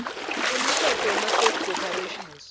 umtsetfo wemaclose corporations